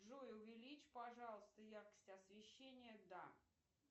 джой увеличь пожалуйста яркость освещения да